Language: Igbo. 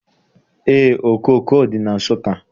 Eé, okooko dị na Nsụka.